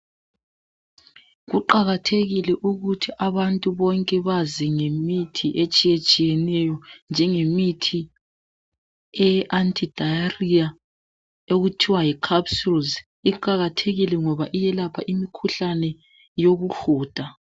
kuqakathekile ukuthi abantu bonke bazi ngemithi etshiyeneyo njengemithi eye Anti-diarrhoea okuthiwa yiCapsules ngoba iyelapha umkhuhlane wokuhuda.